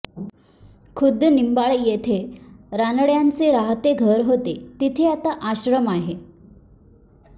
खुद्द निंबाळ येथे रानड्यांचे राहते घर होते तिथे आता आश्रम आहे